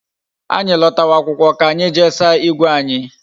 Anyi lotawa akwụkwọ ka anyị jee saa igwe anyi